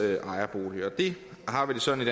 ejerbolig det har vi det sådan